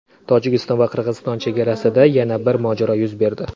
Tojikiston va Qirg‘iziston chegarasida yana bir mojaro yuz berdi.